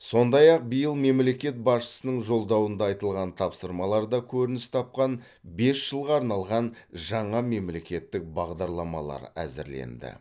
сондай ақ биыл мемлекет басшысының жолдауында айтылған тапсырмаларда көрініс тапқан бес жылға арналған жаңа мемлекеттік бағдарламалар әзірленді